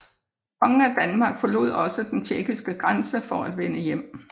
Kongen af Danmark forlod også den tjekkiske grænse for at vende hjem